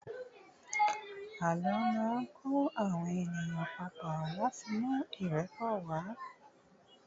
àlọ ma n kọ àwọn ènìyàn papo lati mú irepo wa